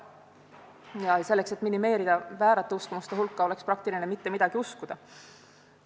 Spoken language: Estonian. Ja selleks, et minimeerida väärate uskumuste hulka, oleks praktiline mitte midagi uskuda.